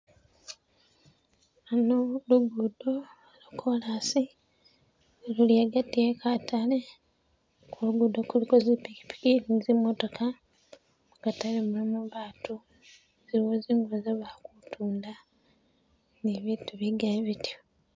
Ano lu lugudo lwa kolasi luli agati e katale, kulugudo kuliko zipikipiki ni zimototoka, mukatale mulimu baatu, ziliwo zingubo ze ba kutunda ni bitu bigali bityo